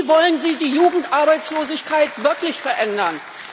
Wie wollen Sie die Jugendarbeitslosigkeit wirklich verändern?